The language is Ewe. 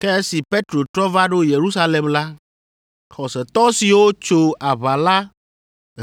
Ke esi Petro trɔ va ɖo Yerusalem la, xɔsetɔ siwo tso aʋa la